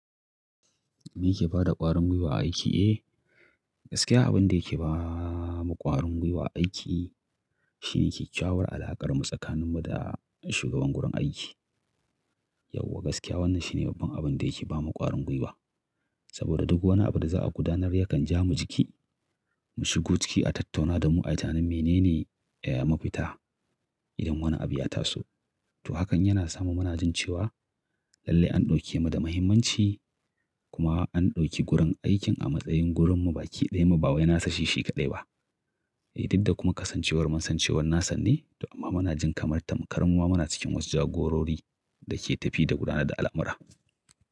Me yake bada ƙwarin gwiwa a aiki? Eh, gaskiya abin da yake ba mu ƙwarin gwiwa a aiki shine kyawar alaƙarmu tsakaninmu da shugaban gurin aiki. Yauwa gaskiya wannan shine babban abin da yake ba mu ƙwarin gwiwa. Saboda duk wani abu da za a gudanar yakan ja mu jiki. Mu shigo ciki, a tattauna da mu ayi tinanin mene ne ya mafita idan wani abu ya taso. To hakan yana sa mu muna jin cewa lalle an ɗauke mu da mahimmanci kuma an ɗauki gurin aikin a matsayin gurin mu baƙi ɗaya mu ba wai nasa shi sheƙaɗaya ba. I didda kuma kasancewar mu kasancewar nasanne. To amma muna jin kamar tamkar muma muna cikin wasu jagorori da ke tafiya da gudanar da al'amura.